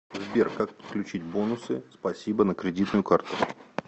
сбер как подключить бонусы спасибо на кредитную карту